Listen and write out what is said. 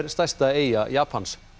stærsta eyja Japans